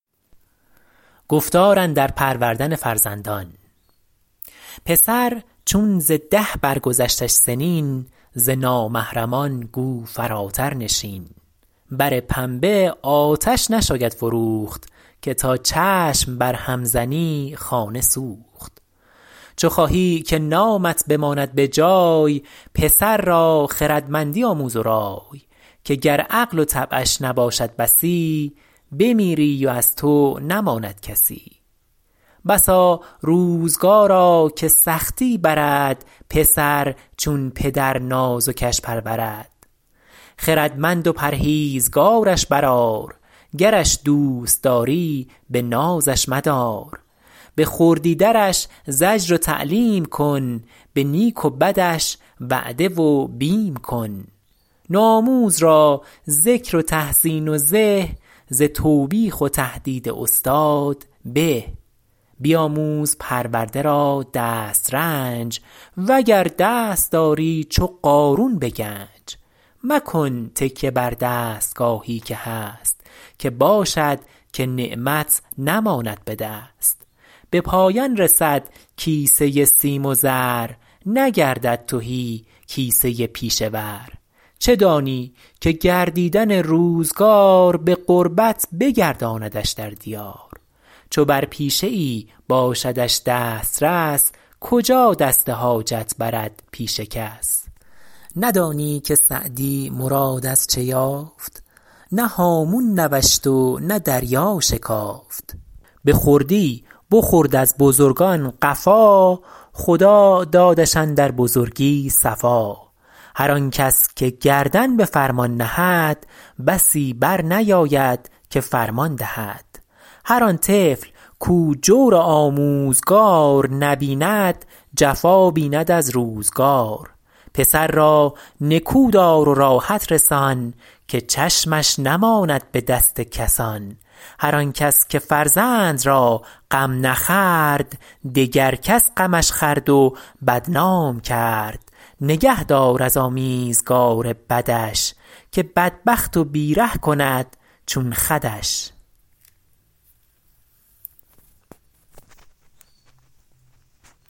پسر چون ز ده بر گذشتش سنین ز نامحرمان گو فراتر نشین بر پنبه آتش نشاید فروخت که تا چشم بر هم زنی خانه سوخت چو خواهی که نامت بماند به جای پسر را خردمندی آموز و رای که گر عقل و طبعش نباشد بسی بمیری و از تو نماند کسی بسا روزگارا که سختی برد پسر چون پدر نازکش پرورد خردمند و پرهیزگارش بر آر گرش دوست داری به نازش مدار به خردی درش زجر و تعلیم کن به نیک و بدش وعده و بیم کن نوآموز را ذکر و تحسین و زه ز توبیخ و تهدید استاد به بیاموز پرورده را دسترنج وگر دست داری چو قارون به گنج مکن تکیه بر دستگاهی که هست که باشد که نعمت نماند به دست به پایان رسد کیسه سیم و زر نگردد تهی کیسه پیشه ور چه دانی که گردیدن روزگار به غربت بگرداندش در دیار چو بر پیشه ای باشدش دسترس کجا دست حاجت برد پیش کس ندانی که سعدی مراد از چه یافت نه هامون نوشت و نه دریا شکافت به خردی بخورد از بزرگان قفا خدا دادش اندر بزرگی صفا هر آن کس که گردن به فرمان نهد بسی بر نیاید که فرمان دهد هر آن طفل کاو جور آموزگار نبیند جفا بیند از روزگار پسر را نکو دار و راحت رسان که چشمش نماند به دست کسان هر آن کس که فرزند را غم نخورد دگر کس غمش خورد و بدنام کرد نگه دار از آمیزگار بدش که بدبخت و بی ره کند چون خودش